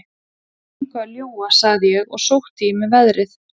Ég er engu að ljúga, sagði ég og sótti í mig veðrið.